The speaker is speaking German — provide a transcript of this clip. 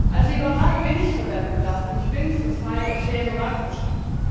Als Liberale bin ich für Wettbewerb, und ich bin für freie und faire Marktwirtschaft.